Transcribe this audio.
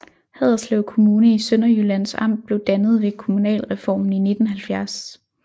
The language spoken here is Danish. Haderslev Kommune i Sønderjyllands Amt blev dannet ved kommunalreformen i 1970